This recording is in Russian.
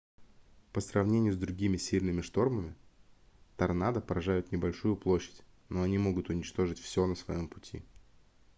по сравнению с другими сильными штормами торнадо поражают небольшую площадь но они могут уничтожить всё на своем пути